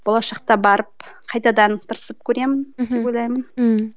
болашақта барып қайтадан тырысып көремін деп ойлаймын ммм